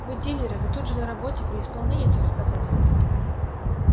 вы дилеры вы же тут на работе при исполнении так сказать